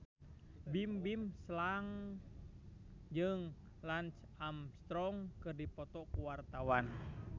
Bimbim Slank jeung Lance Armstrong keur dipoto ku wartawan